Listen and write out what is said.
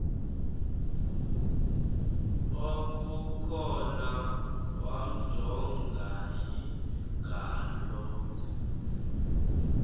okukhona wamjongay ngaloo